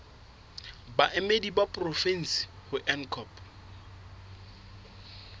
baemedi ba porofensi ho ncop